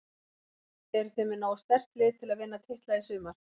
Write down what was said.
Eruð þið með nógu sterkt lið til að vinna titla í sumar?